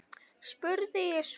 spurði ég svo.